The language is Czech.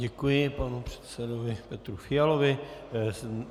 Děkuji panu předsedovi Petru Fialovi.